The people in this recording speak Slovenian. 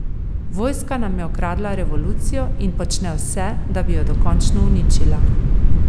Vojska nam je ukradla revolucijo in počne vse, da bi jo dokončno uničila.